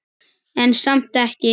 En samt ekki.